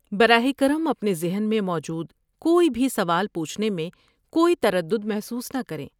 براہ کرم اپنے ذہن میں موجود کوئی بھی سوال پوچھنے میں کوئی تردد محسوس نہ کریں۔